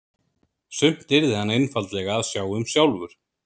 Sumt yrði hann einfaldlega að sjá um sjálfur.